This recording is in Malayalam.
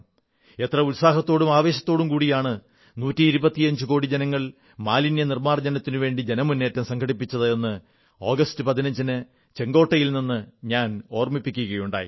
എത്ര ഉത്സാഹത്തോടും ആവേശത്തോടും കൂടിയാണ് നൂറ്റിയിരുപത്തിയഞ്ചുകോടി ജനങ്ങൾ മാലിന്യനിർമ്മാർജ്ജനത്തിനുവേണ്ടി ജനമുന്നേറ്റം സംഘടിപ്പിച്ചത് എന്ന് ആഗസ്റ്റ് 15 ന് ചെങ്കോട്ടയിൽ നിന്ന് ഞാൻ ഓർമ്മിപ്പിക്കുകയുണ്ടായി